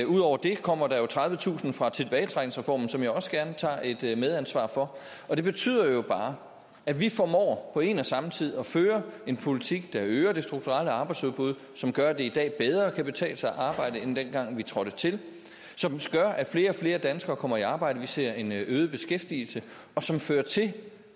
ud over det kommer der jo tredivetusind fra tilbagetrækningsreformen som jeg også gerne tager et medansvar for det betyder jo bare at vi formår på en og samme tid at føre en politik der øger det strukturelle arbejdsudbud som gør at det i dag bedre kan betale sig at arbejde end dengang vi trådte til som gør at flere og flere danskere kommer i arbejde vi ser en øget beskæftigelse og som fører til